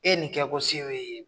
E ye nin kɛ ko se b'e ye.